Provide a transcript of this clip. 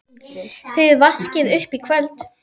Þið vaskið upp í kvöld